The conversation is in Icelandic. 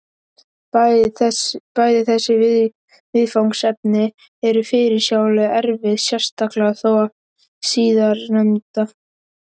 Bæði þessi viðfangsefni eru fyrirsjáanlega erfið, sérstaklega þó það síðarnefnda.